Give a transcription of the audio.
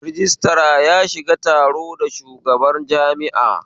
Rajistira ya shiga taro da shugaban jami'a